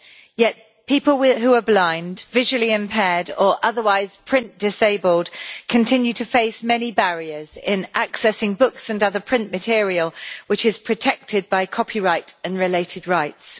Yet people who are blind, visually impaired or otherwise print disabled continue to face many barriers in accessing books and other print material which is protected by copyright and related rights.